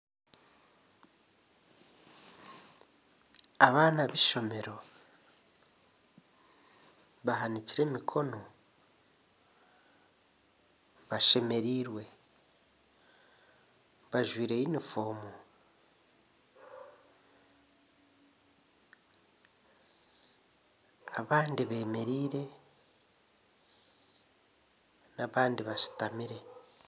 Abaana aha eishomero bahanikire emikono bashemereire bajwire yunifoomu abandi beemereire abandi bashutami